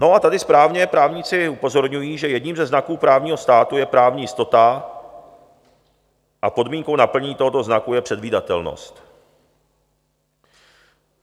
No a tady správně právníci upozorňují, že jedním ze znaků právního státu je právní jistota a podmínkou naplnění tohoto znaku je předvídatelnost.